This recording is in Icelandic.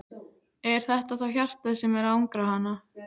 Er þetta þá hjartað sem er að angra hana?